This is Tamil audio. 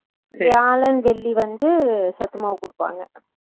வியாழன் வெள்ளி வந்து சத்து மாவு குடுப்பாங்க